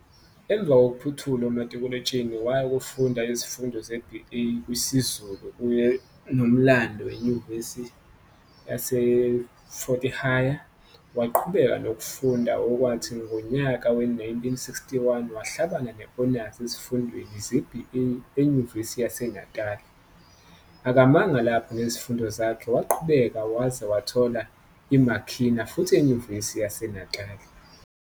Emva kokuphothula umatikuletsheni waya kofunda izifundo ze-BA kwisiZulu kanyenoMlando eNyuvesi yaseFort Hare. Waqhubeka nokufunda okwathi ngonyaka we-1961 wahlabana ne-honors ezifundweni ze-BA eNyuvesi yaseNatali. Akamanga lapho nezifundo zakhe waqhubeka wazwe wathola i-MA khina futhi eNyuvesi yaseNatali.